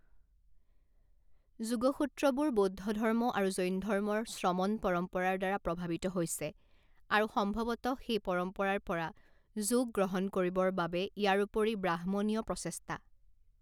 যোগ সূত্ৰবোৰ বৌদ্ধধৰ্ম আৰু জৈনধৰ্মৰ শ্ৰমণ পৰম্পৰাৰ দ্বাৰা প্ৰভাৱিত হৈছে, আৰু সম্ভৱতঃ সেই পৰম্পৰাৰ পৰা যোগ গ্ৰহণ কৰিবৰ বাবে ইয়াৰোপৰি ব্ৰাহ্মণীয় প্ৰচেষ্টা।